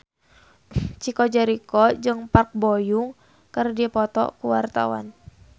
Chico Jericho jeung Park Bo Yung keur dipoto ku wartawan